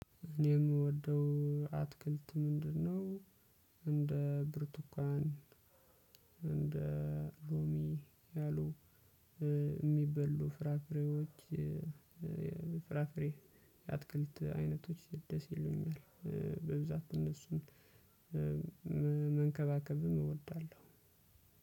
እኔ የምወደው አትክልት ምንድነው? እንደ ብርቱካን እንደ ሎሚ ያሉ የሚበሉ ፍራፍሬዎች እ ፍራፍሬ አትክልት አይነቶች ደስ ይሉኛል። እ በብዛት እነሱን መንከባከብም እወዳለሁ።